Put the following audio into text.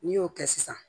N'i y'o kɛ sisan